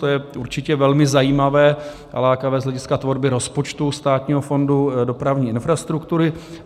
To je určitě velmi zajímavé a lákavé z hlediska tvorby rozpočtu Státního fondu dopravní infrastruktury.